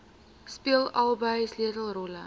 speel albei sleutelrolle